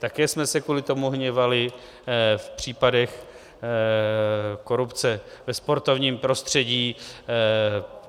Také jsme se kvůli tomu hněvali v případech korupce ve sportovním prostředí.